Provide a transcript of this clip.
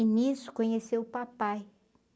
E nisso conheceu o papai.